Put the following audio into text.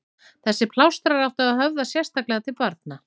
Þessir plástrar áttu að höfða sérstaklega til barna.